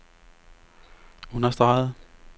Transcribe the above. understregede